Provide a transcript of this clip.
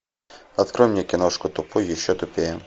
открой мне киношку тупой и еще тупее